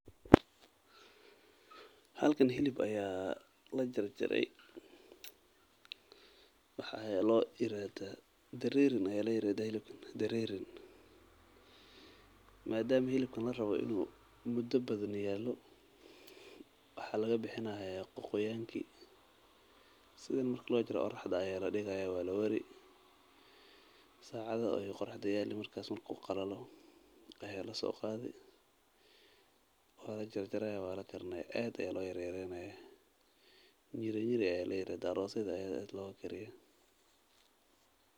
Halkan hilib ayaa la jarjare dareerin ayaa ladahaa hilibkan madama larabo inuu waqti badan ayuu leyahay wuu soo gurte wuu ibsade lacag ayuu helay telefono casri ah oo lagu soo bandige xog aruurin cilmiya.